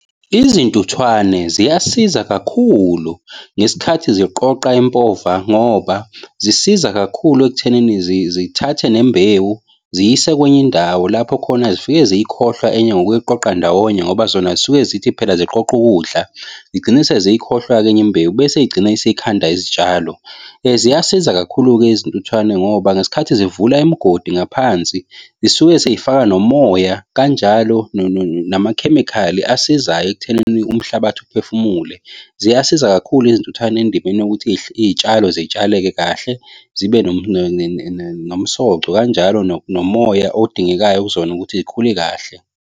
Izintuthwane ziyasiza kakhulu ngesikhathi ziqoqa impova ngoba zisiza kakhulu ekuthenini zithathe nembewu ziyise kwenye indawo lapho khona zifike siyikhohlwe enye ngokwekuyiqoqa ndawonye ngoba zona zisuke zithi phela ziqoqa ukudla zigcina seziyikhohlwa-ke enye imbewu bese zigcine seyikhanda izitshalo. Ziyasiza kakhulu-ke izintuthwane ngoba ngesikhathi zivula imigodi ngaphansi zisuke seyifaka nomoya kanjalo namakhemikhali asizayo ekuthenini umhlabathi uphefumule. Ziyasiza kakhulu izintuthane endibeni yokuthi iy'tshalo zitshaleke kahle zibe nomsoco kanjalo nomoya odingekayo kuzona ukuthi zikhule kahle.